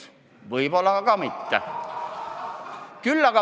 Aga võib-olla ka mitte.